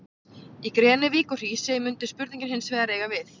Í Grenivík og Hrísey mundi spurningin hins vegar eiga við.